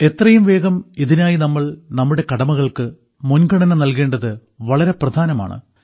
എത്രയുംവേഗം ഇതിനായി നാം നമ്മുടെ കടമകൾക്ക് മുൻഗണന നൽകേണ്ടത് വളരെ പ്രധാനമാണ്